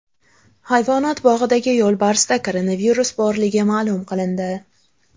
Hayvonot bog‘idagi yo‘lbarsda koronavirus borligi ma’lum qilindi .